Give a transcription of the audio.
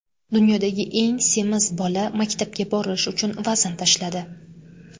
Dunyodagi eng semiz bola maktabga borish uchun vazn tashladi.